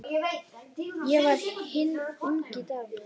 Ég var hinn ungi Davíð.